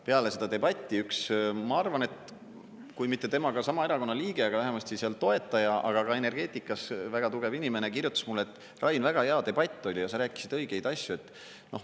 Peale seda debatti üks, ma arvan, et kui mitte temaga sama erakonna liige, siis vähemasti seal toetaja, aga ka energeetikas väga tugev inimene, kirjutas mulle, et Rain, väga hea debatt oli ja sa rääkisid õigeid asju.